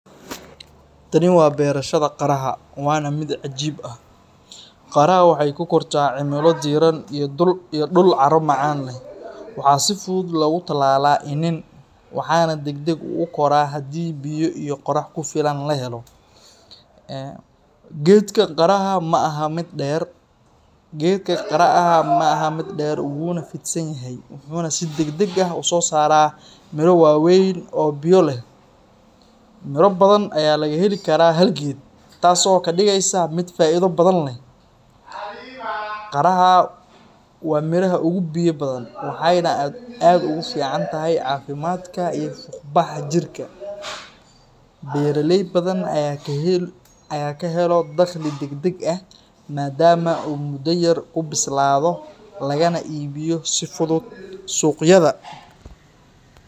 Tani waa beerashada qaraha waana mid cajiib ah. Qaraha waxay ku kortaa cimilo diiran iyo dhul carro macaan leh. Waxaa si fudud loogu tallaalaa iniin, waxaana degdeg u kora haddii biyo iyo qorax ku filan la helo. Geedka qaraha ma aha mid dheer, wuuna fidsan yahay, wuxuuna si degdeg ah u soo saaraa miro waaweyn oo biyo leh. Miro badan ayaa laga heli karaa hal geed, taasoo ka dhigeysa mid faa’iido badan leh. Qaraha waa miraha ugu biyo badan, waxayna aad ugu fiican tahay caafimaadka iyo fuuqbaxa jirka. Beeraley badan ayaa ka helo dakhli degdeg ah maadaama uu muddo yar ku bislaado lagana iibiyo si fudud suuqyada.